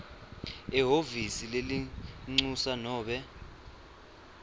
ehhovisi lelincusa nobe